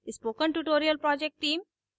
spoken tutorial project team: